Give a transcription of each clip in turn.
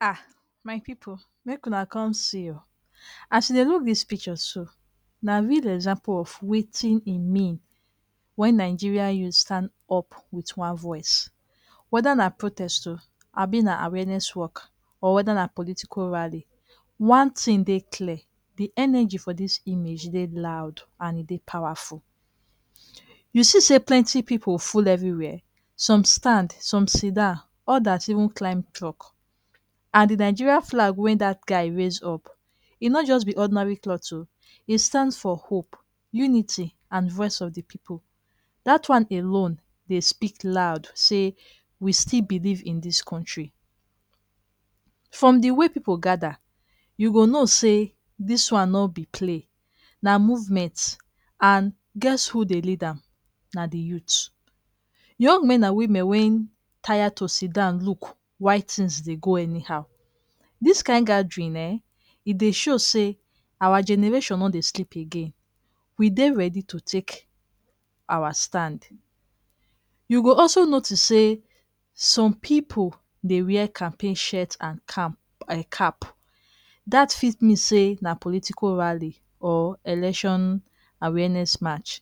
um my pipu, make una come see o! As you dey look dis picture so, na real example of wetin e mean when Nigerian youths stand up with one voice. Whether na protest o, abi na awareness walk or whether na political rally. One thing dey clear, de energy for dis image dey loud and e dey powerful. You see sey plenty pipu full everywhere? Some stand, some sidan, others even climb truck. And de Nigerian flag wey dat guy raise up, e no just be ordinary cloth o! E stand for hope, unity and voice of the pipu. Dat one alone dey speak loud sey we still believe in dis country. From de way pipu gather, you go know sey dis one no be play, na movement. And guess who dey lead am? Na de youths - young men and women wey tire to sidan look while things dey go anyhow. Dis kind gathering ehn, e dey show sey awa generation no dey sleep again. We dey ready to take awa stand. You go also notice sey some pipu dey wear campaign shirt and um cap. Dat fit mean sey na political rally or election awareness march.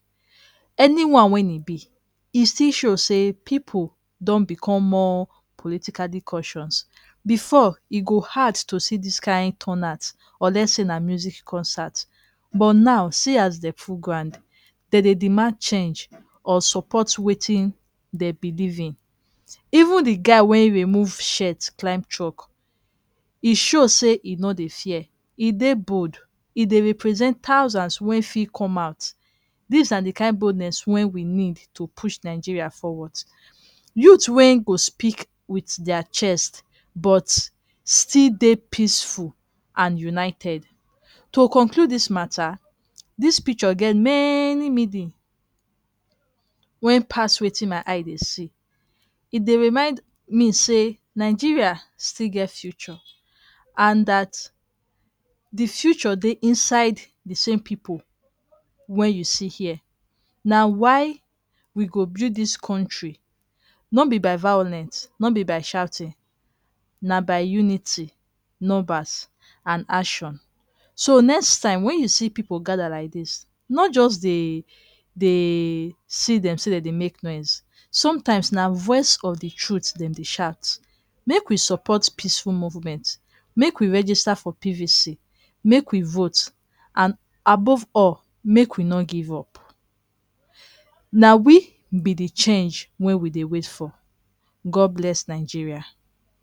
Anyone wey e be, e still show sey pipu don become more politically conscious. Before, e go hard to see dis kind turnout unless sey na music concert, but now see as dem full ground. De dey demand change or support wetin de believe in. Even de guy wey remove shirt climb truck, e show sey e no dey fear. E dey bold, e dey represent thousands wey fit come out. Dis na de kind boldness wey we need to push Nigeria forward. Youth wey go speak with dia chest but still dey peaceful and united. To conclude dis mata, dis picture get many wey pass wetin my eye dey see. E dey remind me sey Nigeria still get future, and dat de future dey inside de same pipu wey you see here. Na why we go build dis country. No be by violence, no be by shouting, na by unity, numbers and action. So next time when you see pipu gather like dis, no just dey dey see dem sey dem dey make noise, sometimes na voice of the truth dem dey shout. Make we support peaceful movement, make we register for PVC, make we vote and above all, make we no give up. Na we be the change wey we dey wait for. God bless Nigeria!